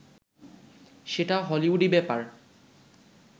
সেটা হলিউডি ব্যাপার